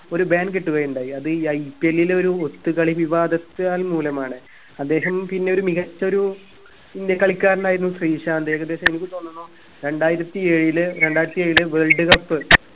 ഒരു ban കിട്ടുകയുണ്ടായി അത IPL ൽ ഒരു ഒത്തുകളി വിവാദത്തക് മൂലമാണ് അദ്ദേഹം പിന്നെയൊരു മികച്ചൊരു ഇന്ത്യ കളിക്കാരനായിരുന്നു ശ്രീശാന്ത് ഏകദേശം എനിക്ക് തോന്നുന്നു രണ്ടായിരത്തി ഏഴില് രണ്ടായിരത്തി ഏഴില് world cup